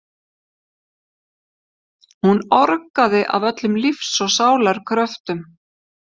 Hún orgaði af öllum lífs og sálar kröftum.